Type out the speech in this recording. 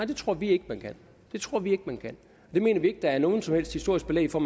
det tror vi ikke man kan det tror vi ikke man kan det mener vi ikke der er noget som helst historisk belæg for